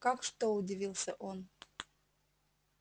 как что удивился он